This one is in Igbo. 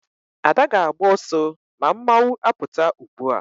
Ada ga-agba oso ma mmanwu aputa ugbua